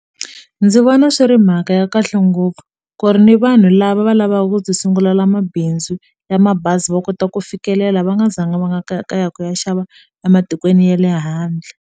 Ndzi vona swi ri mhaka ya kahle ngopfu ku ri ni vanhu lava va lavaka ku ti sungulela mabindzu ya mabazi va kota ku fikelela va nga zanga va nga kaya kaya ku ya xava ematikweni ya le handle.